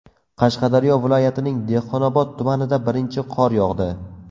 Qashqadaryo viloyatining Dehqonobod tumanida birinchi qor yog‘di.